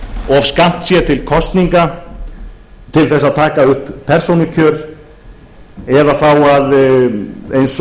of skammt sé til kosninga til þess að taka upp persónukjör eða þá eins og það